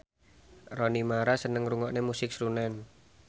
Rooney Mara seneng ngrungokne musik srunen